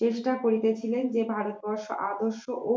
চেষ্টা করিতেছিলেন যে ভারতবর্ষ আদর্শ ও